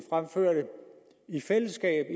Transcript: i fællesskab